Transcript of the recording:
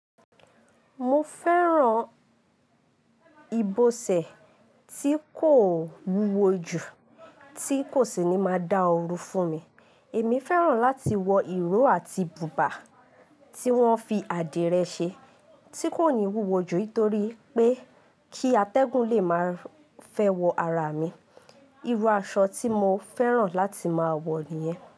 Mo fẹ́ran ìbọsẹ̀ tí kò wúwo jù, tí kò sì ní máa dá oru fún mi. Èmi fẹ́ran láti wọ ìró àti bùbá tí wọ́n fi adire ṣe tí kò ní wúwo jù nítorí pé kí atẹ́gùn lè máa fẹ́ wọ ara mi. Irú aṣọ tí mo fẹ́ran láti máa wọ nìyẹn.